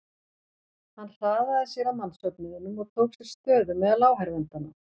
Hann hraðaði sér að mannsöfnuðinum og tók sér stöðu meðal áhorfendanna.